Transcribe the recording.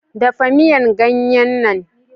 Dafa miyan ganye nan.